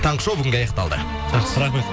таңғы шоу бүгінгі аяқталды жақсы рахмет